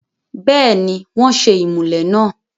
bẹ́ẹ̀ni, wọ́n ṣe ìmùlẹ̀ náà